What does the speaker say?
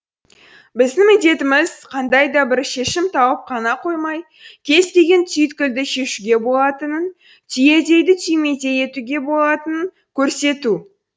біздің міндетіміз қандай да бір шешім тауып қана қоймай кез келген түйткілді шешуге болатынын түйедейді түймедей етуге болатынын көрсету